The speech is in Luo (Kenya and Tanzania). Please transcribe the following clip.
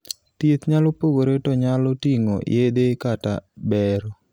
thieth nyalo pogore to nyalo ting'o yedhe kata bero